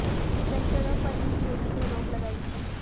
इन डिबेंचरों पर ही सेबी ने रोक लगाई थी